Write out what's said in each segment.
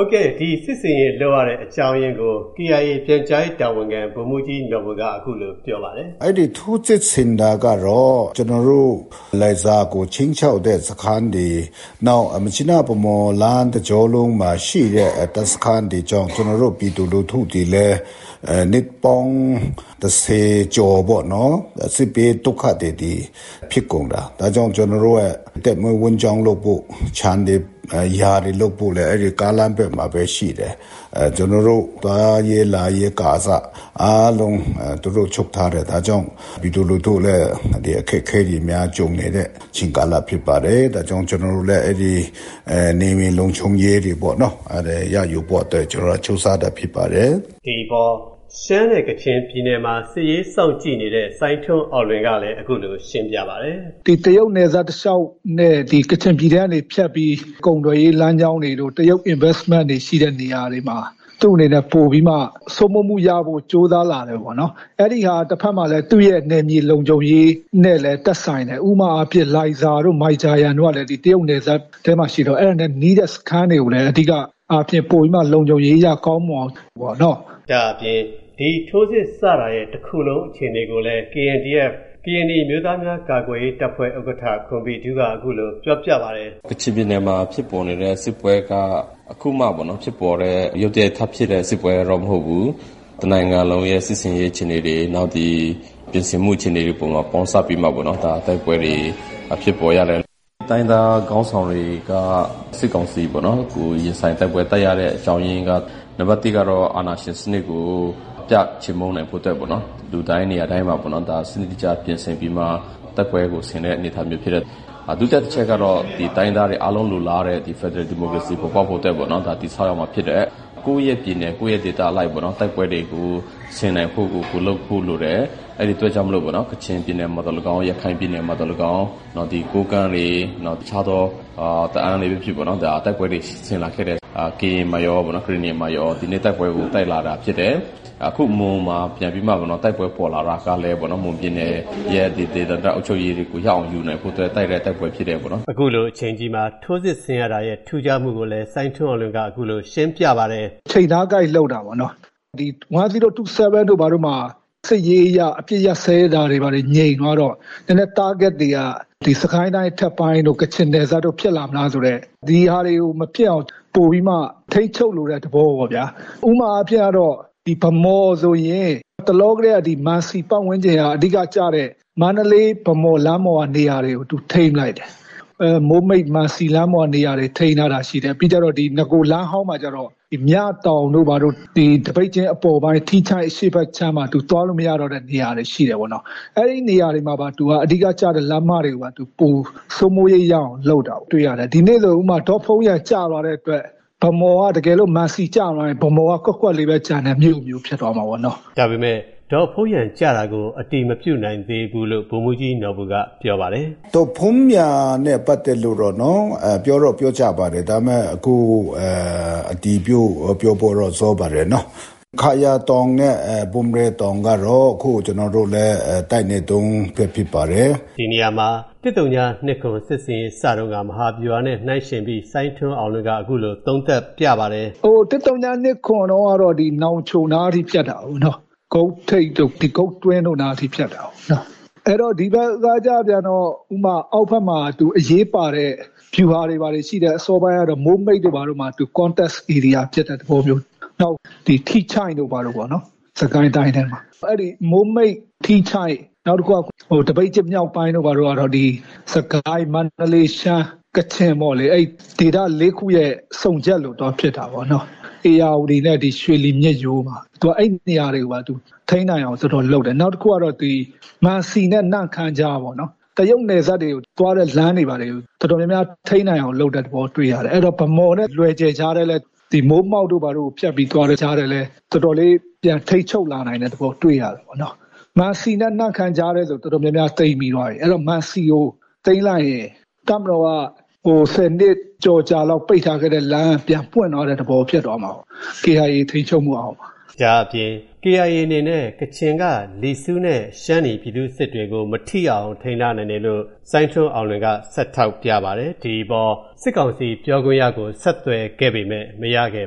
ုတ်ကဲ့၊ ဒီဖြစ်စဉ် လုပ်ရတဲ့အကြောင်းရင်းကို KIA ပြန်ကြားရေးတာဝန်ခံ ဗိုလ်မှူးကြီးနော်ဘူက အခုလိုပြောပါတယ်။ "အဲဒီထိုးစစ်ဆင်တာကတော့ ကျွန်တော်တို့ လိုင်ဇာကို ချိန်းခြောက်တဲ့စခန်းတွေ၊ နောက် မြစ်ကြီးနား-ဗန်းမော်လမ်း တကြောလုံးမှာရှိတဲ့ လူထုတွေလည်း နှစ်ပေါင်း ၁၀ ကျော်ပေါ့နော်။ စစ်ဘေးဒုက္ခသည်တွေဖြစ်ကုန်တာ။ ဒါကြောင့် အသက်မွေးဝမ်းကြောင်းလုပ်ဖို့ ခြံတွေယာတွေလုပ်ဖို့လည်း အဲဒီကားလမ်းဘက်မှာပဲရှိတယ်။ ကျွန်တော်တို့သွားရေးလာရေးကအစ အားလုံး သူတို့ချုပ်ထားတာ။ ဒါကြောင့် ပြည်သူလူထုလည်း အခက်အခဲတွေကြုံနေတဲ့ အချိန်ကာလဖြစ်ပါတယ်။ ဒါကြောင့် ကျွန်တော်တို့လည်း နယ်မြေလုံခြုံရေးတွေပေါ့နော်၊ ရယူဖို့အတွက်ကြိုးစားတာဖြစ်ပါတယ်" ဒီအပေါ် ရှမ်းနဲ့ကချင်ပြည်နယ်မှာ စစ်ရေးစောင့်ကြည့်နေတဲ့ စိုင်းထွန်းအောင်လွင်ကလည်း အခုလိုရှင်းပြပါတယ်။ "ဒီတရုတ်နယ်စပ်တလျှောက်နဲ့ ကချင်ပြည်နယ်ထဲကနေဖြတ်ပြီးတော့ ကုန်သွယ်ရေးလမ်းကြောင်းတွေတို့ တရုတ်ရင်းနှီးမြှုပ်နှံမှုရှိတဲ့နေရာတွေမှာ သူ့အနေနဲ့ ပိုပြီးမှ စိုးမိုးမှုရဖို့ ကြိုးစားလာတယ်ပေါ့နော်။ တဖက်မှာလည်း သူ့ရဲ့နယ်မြေလုံခြုံရေးနဲ့လည်း သက်ဆိုင်တယ်၊ ဥပမာ လိုင်ဇာတို့ မိုင်ဂျာယန်တို့က တရုတ်နယ်စပ်ထဲမှာရှိတော့ အဲဒါနဲ့နီးတဲ့စခန်းတွေမှာလည်း လုံခြုံရေးအရ ကောင်းမွန်အောင်ပေါ့နော် " ဒါ့အပြင် ဒီထိုးစစ်စတာရဲ့ တခုလုံးအခြေအနေကိုလည်း KNDF ကရင်နီအမျိုးသားများကာကွယ်ရေးတပ် ဥက္ကဋ္ဌခွန်ဘီထူးက အခုလိုပြောပြပါတယ်။ "ကချင်ပြည်နယ်မှာဖြစ်ပေါ်နေတဲ့ စစ်ပွဲက အခုမှ ရုတ်တရက်ထဖြစ်တဲ့စစ်ပွဲတော့မဟုတ်ဘူး၊ တနိုင်ငံလုံးရဲ့စစ်ဆင်ရေးအခြေအနေတွေ ပြင်ဆင်မှုအခြေအနေတွေ ပေါင်းစပ်ပြီးမှ တိုက်ပွဲတွေဖြစ်ပေါ်ရတယ်။ တိုင်းရင်းသားခေါင်းဆောင်တွေက စစ်ကောင်စီကိုရင်ဆိုင်တိုက်ပွဲတိုက်ရတဲ့ အကြောင်းရင်းက နံပတ် ၁ ကတော့ အာဏာရှင်စနစ်ကို အပြတ်ချေမှုန်းနိုင်ဖို့ နေရာတိုင်းမှာ စနစ်တကျပြင်ဆင်ပြီးမှ တိုက်ပွဲကို ဆင်တဲ့အနေအထားမျိုးဖြစ်တယ်။ ဒုတိယတချက်ကတော့ တိုင်းရင်းသားတွေအားလုံးလိုလားတဲ့ ဖယ်ဒရယ်ဒီမိုကရေစီပေါ်ပေါက်ဖို့အတွက်ပေါ့နော် တည်ဆောက်ရမှာဖြစ်တယ်။ ကိုယ့်ရဲ့ ပြည်နယ်ကိုယ့်ရဲ့ဒေသအလိုက်ပေါ့နော် တိုက်ပွဲတွေဆင်နိုင်ဖို့ကို လုပ်ဖို့လိုတယ်။ အဲဒီအတွက်ကြောင့် ကချင်ပြည်နယ်မှာသော်လည်းကောင်း၊ ရခိုင်ပြည်နယ်မှာသော်လည်းကောင်း ကိုးကန့်တွေ တခြားသော တအာဝ်းပဲဖြစ်ဖြစ်ပေါ့နော် တိုက်ပွဲတွေ ဆင်လာခဲ့တယ်။ ကရင်မှာကော ကရင်နီမှာကော။ အခုမွန်မှာ ပြန်ပြီးမှ တိုက်ပွဲပေါ်လာတာကလည်း မွန်ပြည်နယ်ရဲ့ ဒေသန္တရအုပ်ချုပ်ရေးတွေကို ရအောင် ယူနိုင်ဖို့အတွက် တိုက်တဲ့တိုက်ပွဲဖြစ်တယ်ပေါ့နော်။" အခုလိုအချိန်ကြီးမှာ ထိုးစစ်ဆင်ရတာရဲ့ ထူးခြားမှုကိုလည်း စိုင်းထွန်းအောင်လွင်က အခုလိုရှင်းပြပါတယ်။ "ချိန်သားကိုက်လုပ်တာပေါ့နော်။ ၁၀၂၇ မှာ စစ်ရေးအရ အပစ်ရပ်စဲတာတွေ ငြိမ်သွားတော့ ကျန်တဲ့တားဂတ်တွေက စစ်ကိုင်းတိုင်းတို့ ကချင်နယ်စပ်တို့ဖြစ်လာမလားဆိုတဲ့ ဒီဟာတွေကို မဖြစ်အောင်ထိန်းချုပ်လိုတဲ့သဘောပေါ့ဗျာ။ ဥပမာအားဖြင့်ကတော့ ဗန်းမော်ဆိုရင် မံစီပတ်ဝန်းကျင်က အဓိကကျတဲ့ မန္တလေး-ဗန်းမော် လမ်းပေါ်ကနေရာတွေကို သူထိန်းပစ်လိုက်တယ်။ မိုးမိတ်-မံစီလမ်းပေါ်ကနေရာတွေ ထိန်းထားတာရှိတယ်။ နဂိုလမ်းဟောင်းမှာကျတော့ မြတောင်တို့ သပိတ်ကျင်းအပေါ်ပိုင်းထီးချိုင့်အရှေ့ဖက်ခြမ်းမှာ သူသွားလို့မရတော့တဲ့ နေရာတွေရှိတယ်ပေါ့နော်။ ဒီနေ့ဆိုရင် ဒေါ့ဖုန်းယန်ကျသွားတဲ့အတွက် တကယ်လို့ မံစီကျသွားရင် ဗန်းမော်က ကွက်ကွက်လေးပဲကျန်တဲ့မြို့ဖြစ်သွားမှာပေါ့နော်" ဒါပေမယ့် ဒေါ့ဖုန်းယန်ကျတာကို အတည်မပြုနိုင်သေးဘူလို့ ဗိုလ်မှူးကြီးနော်ဘူက ပြောပါတယ်။ "ဒေါ့ဖုန်းယန်နဲ့ပတ်သတ်လို့တော့နော် ပြောတော့ပြောကြပါတယ်။ ဒါပေမဲ့ အတည်ပြုဖို့တော့ စောပါတယ်နော်။ ခါရာတောင်နဲ့ ဘုံရယ်တောင်ကတော့ အခု ကျွန်တော်တို့လည်း တိုက်နေတုန်းပဲဖြစ်ပါတယ်။" ၁၀၂၇ စစ်ဆင်ရေးစတုန်းက မဟာဗျူဟာနဲ့နှိုင်းယှဉ်ပြီး စိုင်းထွန်းအောင်လွင်က အခုလိုသုံးသပ်ပြပါတယ်။ "၁၀၂၇ တုန်းကတော့ နောင်ချိုနားထိ ဖြတ်တာကိုးနော့်။ ဂုတ်ထိပ်တို့ ဂုတ်တွင်းတို့နားအထိဖြတ်တာကိုး။ ဒီဘက်မှာကျတော့ အောက်ဖက်မှာ အရေးပါတဲ့ဗျူဟာတွေ ဘာတွေရှိတယ်။ မိုးမိတ်တို့ဘာတို့မှာ ထိတွေ့တယ်။ နောက် ထီးချိုင့်တို့ဘာတို့ပေါ့နော်။ ထီးချိုင့်၊ မိုးမိတ်၊ သပိတ်ကျင်းမြောက်ပိုင်းတို့ဘာတို့ကတော့ စစ်ကိုင်း၊ မန္တလေး၊ ရှမ်း၊ ကချင်ပေါ့လေ အဲဒီဒေသ လေးခုရဲ့ စုံရပ်လိုသွားဖြစ်တာပေါ့နော်။ ဧရာဝတီနဲ့ ရွှေလီမြစ်ရိုးမှာ ထိန်းနိုင်အောင် သူတို့လုပ်တယ်။ နောက်တခုက ဒီမံစီနဲ့ နမ့်ခမ်းကြားပေါ့နော်။ တရုတ်နယ်စပ်သွားတဲ့ လမ်းတွေကို ထိန်းနိုင်အောင်လုပ်တဲ့သဘောတွေ့ရတယ်။ ဗန်းမော်နဲ့ လွယ်ဂျယ်ကြားထဲလည်း မိုးမောက်တို့ဘာတို့ ဖြတ်ပြီးသွားတဲ့ကြားထဲလည်း တော်တော်လေးပြန်ထိန်းချုပ်လာနိုင်တဲ့သဘော တွေ့ရတယ်ပေါ့နော် မံစီနဲ့နမ်းခမ်းကြားထဲဆို တော်တော်များများသိမ်းပြီးသွားပြီ။ မံစီကိုသိမ်းလိုက်ရင် တပ်မတော်က ၁၀ နှစ်ကျော် ပိတ်ထားခဲ့တဲ့လမ်းက ပြန်ပွင့်သလိုဖြစ်သွားမှာပေါ့ KIA ထိန်းချုပ်မှုအောက်မှာ" ဒါ့အပြင် KIA အနေနဲ့ ကချင်က လီဆူးနဲ့ ရှမ်းနီပြည်သူ့စစ်တွေကို မထိရောက်အောင် ထိန်းထားနိုင်တယ်လို့ စိုင်းထွန်းအောင်လွင်က ဆက်ထောက်ပြပါတယ်။ ဒီအပေါ် စစ်ကောင်စီပြောခွင့်ရကို ဆက်သွယ်ခဲ့ပေမဲ့ မရခဲ့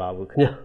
ပါဘူးခင်ဗျာ။